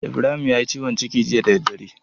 Ibrahim yayi ciwon ciki jiya da daddare.